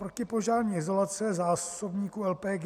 Protipožární izolace zásobníků LPG.